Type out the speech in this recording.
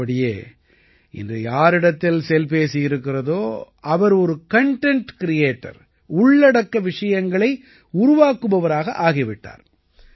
உள்ளபடியே இன்று யாரிடத்தில் செல்பேசி இருக்கிறதோ அவர் ஒரு கன்டென்ட் கிரியேட்டர் உள்ளடக்க விஷயங்களை உருவாக்குபவராக ஆகி விட்டார்